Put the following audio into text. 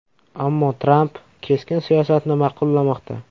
Ammo Tramp keskin siyosatni ma’qullamoqda.